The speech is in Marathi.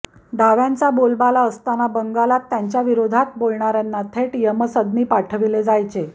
डाव्यांचा बोलबाला असताना बंगालात त्यांच्याविरोधात बोलणाऱयांना थेट यमसदनी पाठविले जायचे